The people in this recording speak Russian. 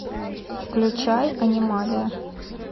включай анималия